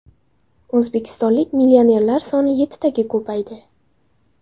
O‘zbekistonlik millionerlar soni yettitaga ko‘paydi.